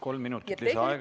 Kolm minutit lisaaega, palun!